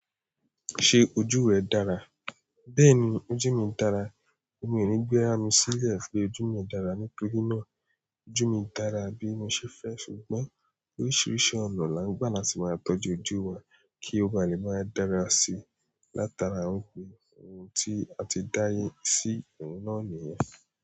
Ṣé ojú rẹ dára? Bẹ́ẹ̀ni, ojú mi dára. Èmi ò ní gbéra mi sílẹ̀ pé ojú mi dára nítorí náà. Ojú mi dára bí mo ṣe fẹ́, ṣùgbọ́n oríṣiríṣi ọ̀nà là ń gbà láti máa tọ́jú ojú wa kí ó bá lè máa dára sí i. Látara ó pé ohun tí a ti dá yé sí inú náà nìyẹn.